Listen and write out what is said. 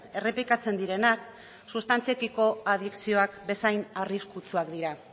errepikatzen direnak sustantziekiko adikzioak bezain arriskutsuak dira